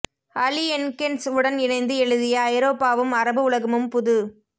அலி என்கென்ஸ் உடன் இணைந்து எழுதிய ஐரோப்பாவும் அரபு உலகமும் புது